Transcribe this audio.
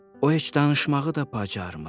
O heç danışmağı da bacarmır.